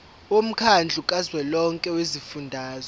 womkhandlu kazwelonke wezifundazwe